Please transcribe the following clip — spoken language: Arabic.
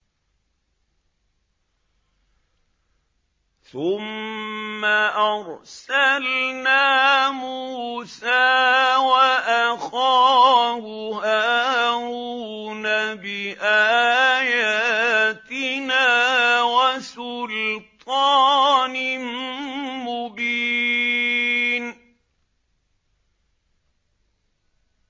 ثُمَّ أَرْسَلْنَا مُوسَىٰ وَأَخَاهُ هَارُونَ بِآيَاتِنَا وَسُلْطَانٍ مُّبِينٍ